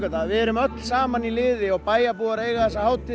að við erum öll saman í liði og bæjarbúar eiga þessa hátíð